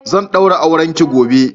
zan daura aurenki gobe!